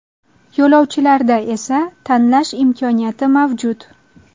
Yo‘lovchilarda esa tanlash imkoniyati mavjud.